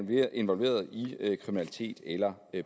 er involveret i kriminalitet eller